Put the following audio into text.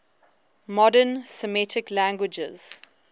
modern semitic languages